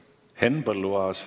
Henn Põlluaas.